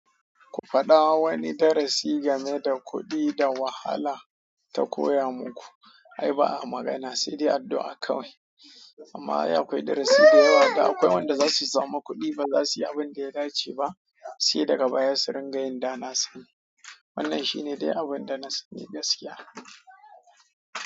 Ku faɗa wani darasi game da kuɗi da wahala ta koya muku. Ai ba a magana, sai dai addu'a kawai. Amma ai akwai darasi da yawa da akwai wanda za su sama kuɗi ba za su yi abin da ya dace ba, sai daga baya su ringa yin da na sani. Wannan shi ne dai abin da na sani gaskiya.